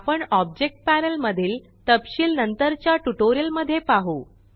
आपण object panel मधील तपशिल नंतरच्या ट्यूटोरियल मध्ये पाहु